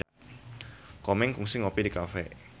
Komeng kungsi ngopi di cafe